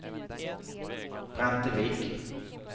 Brantevik